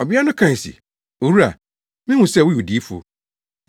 Ɔbea no kae se, “Owura, mihu sɛ woyɛ odiyifo.